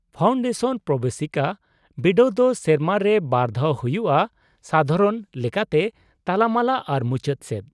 -Foundation ᱯᱨᱚᱵᱮᱥᱤᱠᱟ ᱵᱤᱰᱟᱹᱣ ᱫᱚ ᱥᱮᱨᱢᱟ ᱨᱮ ᱵᱟᱨ ᱫᱷᱟᱣ ᱦᱩᱭᱩᱜᱼᱟ, ᱥᱟᱫᱷᱟᱨᱚᱱ ᱞᱮᱠᱟᱛᱮ ᱛᱟᱞᱟᱢᱟᱞᱟ ᱟᱨ ᱢᱩᱪᱟᱹᱫ ᱥᱮᱫ ᱾